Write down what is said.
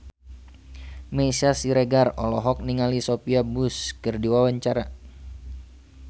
Meisya Siregar olohok ningali Sophia Bush keur diwawancara